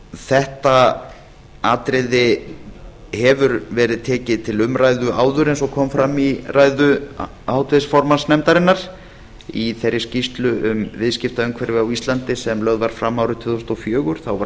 þetta atriði hefur verið tekið til umræðu áður eins og kom fram í ræðu háttvirts formanns nefndarinnar í þeirri skýrslu um viðskiptaumhverfi á íslandi sem lögð var fram árið tvö þúsund og fjögur þá var fjallað